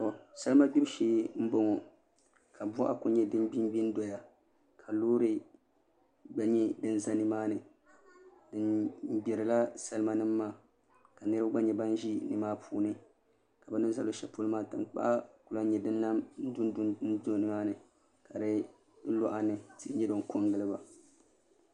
Salima gbibu shee n boŋo ka boɣa ku nyɛ din gbingbi n doya ka loori gba ʒɛ nimaani bi gbirila salima nim maa ka niraba gba nyɛ ban ʒi nimaa puuni ka bu ni ʒɛ luɣu shɛli polo maa tankpaɣu ku lahi nyɛ din dundu n do nimaani ka di luɣa ni tihi nyɛ din ko n giliba